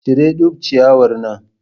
Cire duk ciyawar nan.